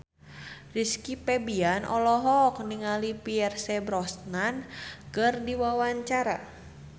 Rizky Febian olohok ningali Pierce Brosnan keur diwawancara